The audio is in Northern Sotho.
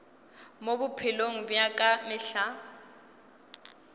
mo bophelong bja ka mehla